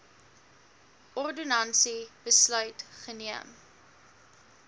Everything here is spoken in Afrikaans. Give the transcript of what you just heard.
ordonnansie besluit geneem